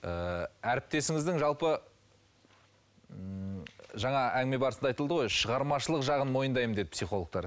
ы әріптесіңіздің жалпы ммм жаңа әңгіме барысында айтылды ғой шығармашылық жағын мойындаймын деді психологтар